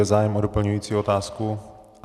Je zájem o doplňující otázku?